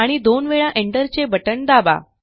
आणि दोन वेळा एंटरचे बटण दाबा